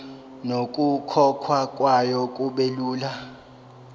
nokukhokhwa kwayo kubelula